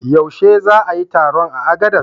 Yaushe za a yi taron a Agades?